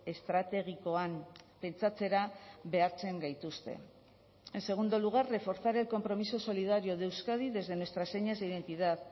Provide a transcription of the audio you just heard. estrategikoan pentsatzera behartzen gaituzte en segundo lugar reforzar el compromiso solidario de euskadi desde nuestras señas de identidad